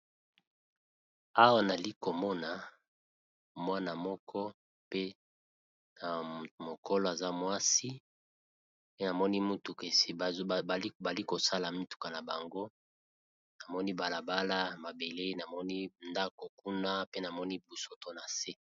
Awa nazali komona mwana moko ya mokolo aza mwasi bazosala mutuka na bango namoni balabala na ndako kuna pe namoni bosoto.